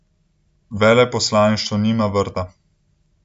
Veleposlaništvo nima vrta.